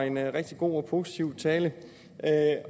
en rigtig god og positiv tale